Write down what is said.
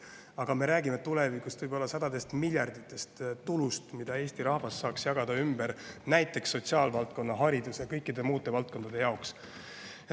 Aga tulevikus me räägime võib-olla sadades miljardites eurodes tulust, mille Eesti rahvas saaks jagada näiteks sotsiaalvaldkonda, haridusvaldkonda ja kõikidele muudele valdkondadele.